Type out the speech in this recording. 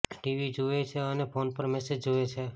TV જુએ છે અને ફોન પર મેસેજ જુએ છે